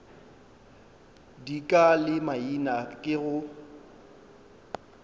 dika le maina ke go